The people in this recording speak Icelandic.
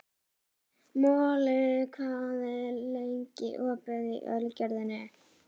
Moli, hvað er lengi opið í Ölgerðinni?